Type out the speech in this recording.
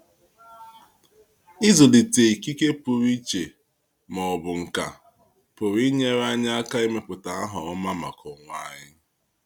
Ịzulite ikike puru iche ma ọ bụ nkà pụrụ inyere anyị aka ịmepụta aha ọma maka onwe anyị.